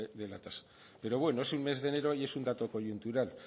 de la tasa pero bueno es un mes de enero y es un dato coyuntural